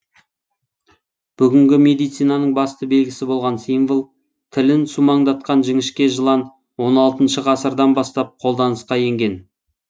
бүгінгі медицинаның басты белгісі болған символ тілін сумаңдатқан жіңішке жылан он алтыншы ғасырдан бастап қолданысқа енген